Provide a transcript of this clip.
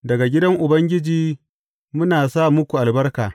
Daga gidan Ubangiji muna sa muku albarka.